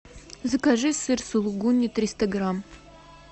закажи сыр сулугуни триста грамм